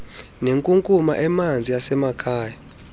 nenkunkuma emanzi yasemakhaya